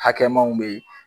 Hakɛmaw bɛ yen